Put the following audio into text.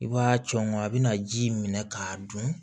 I b'a cɔngɔ a bɛna ji minɛ k'a dun